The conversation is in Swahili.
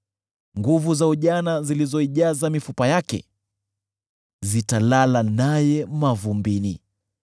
Nguvu za ujana zilizoijaza mifupa yake, zitalala naye mavumbini.